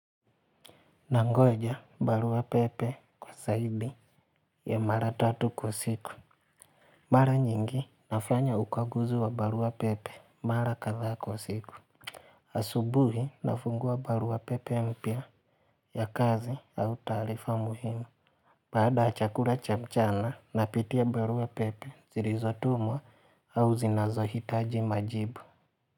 Nangoja barua pepe kwa zaidi ya mara tatu kwa siku. Mara nyingi nafanya ukaguzi wa barua pepe mara kadhaa kwa siku. Asubuhi nafungua barua pepe mpya ya kazi au taarifa muhimu. Baada ya chakula cha mchana napitia barua pepe zilizotumwa au zinazohitaji majibu.